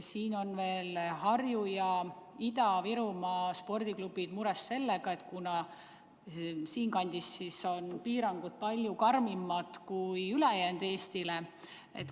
Harjumaa ja Ida-Virumaa spordiklubid on mures sellepärast, et nendes maakondades on piirangud palju karmimad kui ülejäänud Eestis.